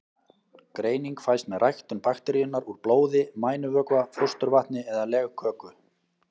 Greining fæst með ræktun bakteríunnar úr blóði, mænuvökva, fósturvatni eða legköku.